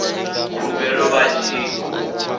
khumbelo vha tshi khou i